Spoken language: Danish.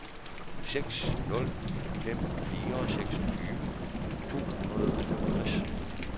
seks nul fem fire seksogtyve tre hundrede og femogtres